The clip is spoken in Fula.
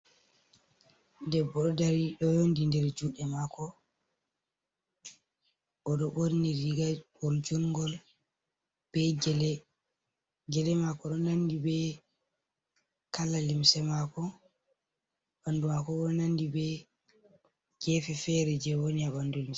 Ɗeɓɓo ɗo ɗari ɗo yeunɗiri der juɗe mako ,o ɗo ɓorni riga ɓogol jungol ɓe gele mako ɗo nanɗi ɓe kala limse mako, ɓanɗu mako ɓo nanɗi ɓe gefe fere je woni a ɓanɗu limse.